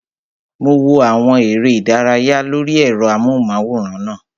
Mo wo àwọn eré ìdárayá lórí ẹ̀rọ amóhùnmáwòrán náà